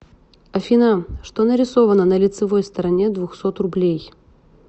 афина что нарисовано на лицевой стороне двухсот рублей